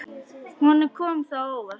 Honum kom það á óvart.